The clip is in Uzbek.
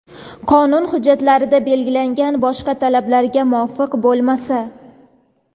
qonun hujjatlarida belgilangan boshqa talablarga muvofiq bo‘lmasa;.